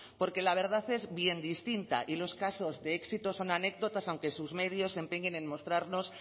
porque la verdad es bien distinta y los casos de éxito son anécdotas aunque sus medios se empeñen en mostrarnos